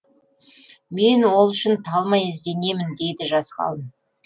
мен ол үшін талмай ізденемін дейді жас ғалым